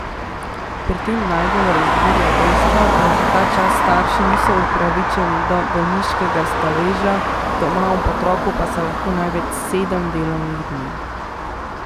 Pri tem najbolj razburja dejstvo, da za ta čas starši niso upravičeni do bolniškega staleža, doma ob otroku pa so lahko največ sedem delovnih dni.